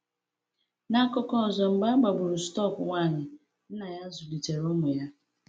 N’akụkọ ọzọ, mgbe e gbagburu stọk nwanyị, nna ya zụlitere ụmụ ya.